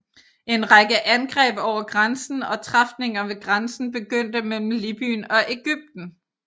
En række angreb over grænsen og træfninger ved grænsen begyndte mellem Libyen og Egypten